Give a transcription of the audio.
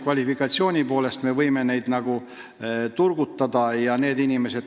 Kvalifikatsiooni poolest me võime töötajaid turgutada.